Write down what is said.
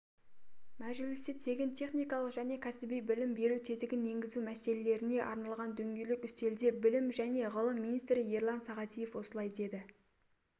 мәжілісте тегін техникалық және кәсіби білім беру тетігін енгізу мәселелеріне арналған дөңгелек үстелде білім және ғылым министрі ерлан сағадиев осылай деді